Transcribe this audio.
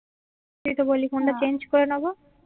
এইতো বলি ফোনটা চেঞ্জ করে নেবো